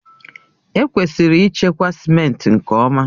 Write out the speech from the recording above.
Ekwesịrị ịchekwa simenti nke ọma.